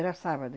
Era sábado.